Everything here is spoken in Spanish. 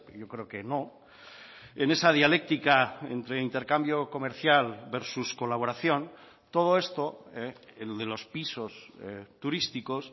yo creo que no en esa dialéctica entre intercambio comercial versus colaboración todo esto de los pisos turísticos